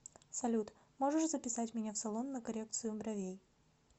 салют можешь записать меня в салон на коррекцию бровей